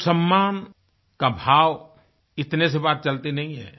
सिर्फ सम्मान का भाव इतने से बात चलती नहीं है